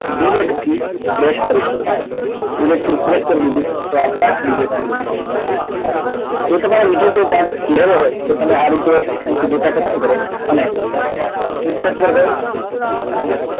delete થી press કરી શકો છો ડિલીટ થી પ્રેસ કરી દીધી છે તો આ chart delete થયેલો જોવા મળે છે જો તમારે બીજો કઈ chart લેવો હોય તો તમે આ રીતે અહીથી ડેટા પસંદ કરો અને ઇન્સર્ટ પર જો અને